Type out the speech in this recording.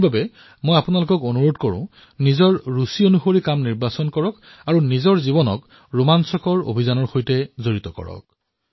সেইবাবে মই আপোনালোকক বিশেষভাৱে আহ্বান জনাইছো যে আপোনালোকেও নিজৰ পছন্দৰ স্থান বাচনি কৰি নিজৰ বিনোদন বাচনি কৰি নিজৰ জীৱনক অভিযানৰ সৈতে জড়িত কৰাওক